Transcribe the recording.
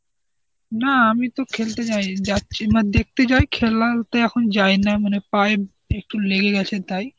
না আমি তো খেলতে যাই, যাচ্ছি না দেখতে যাই খেলাতে এখন যাই না মানে পায়ে একটু লেগে গেছে তাই.